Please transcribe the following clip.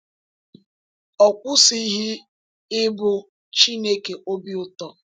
Ọ kwụsịghị ịbụ “Chineke obi ụtọ.”